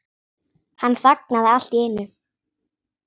Hann þagnaði allt í einu.